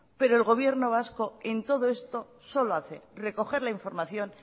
pero el gobierno vasco en todo esto solo hace recoger la información